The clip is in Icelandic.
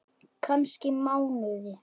Kannski mánuði!